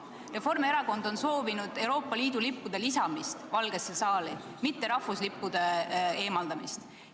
Reformierakond on soovinud Euroopa Liidu lippude lisamist Valgesse saali, mitte rahvuslippude eemaldamist.